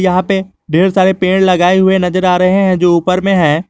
यहां पे ढेर सारे पेड़ लगाए हुए नजर आ रहे है जो ऊपर में है।